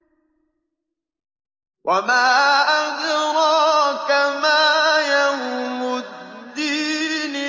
وَمَا أَدْرَاكَ مَا يَوْمُ الدِّينِ